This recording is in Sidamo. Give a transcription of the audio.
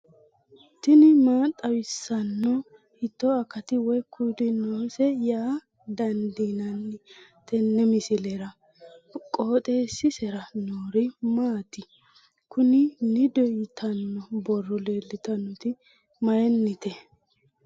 tini maa xawissanno ? hiitto akati woy kuuli noose yaa dandiinanni tenne misilera? qooxeessisera noori maati? kuni nido yitanno borro leeltanoti mayinite